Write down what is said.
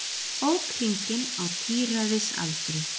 Ók hringinn á tíræðisaldri